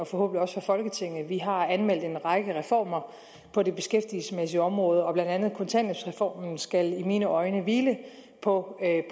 for folketinget vi har anmeldt en række reformer på det beskæftigelsesmæssige område og blandt andet kontanthjælpsreformen skal i mine øjne hvile på